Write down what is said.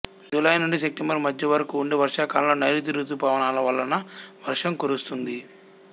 July నుండి September మధ్య వరకు ఉండే వర్షాకాలంలో నైరుతి రుతుపవనాల వలన వర్షం కురుస్తుంది